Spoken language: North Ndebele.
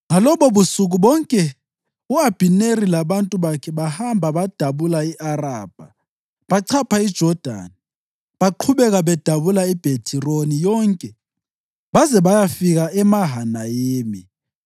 Ngalobobusuku bonke u-Abhineri labantu bakhe bahamba badabula i-Arabha. Bachapha iJodani, baqhubeka bedabula iBhethironi yonke baze bayafika eMahanayimi.